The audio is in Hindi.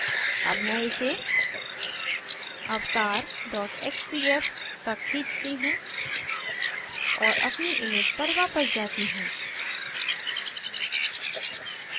अब मैं इसे avatar xcf तक खींचती हूँ और अपनी image पर वापस जाती हूँ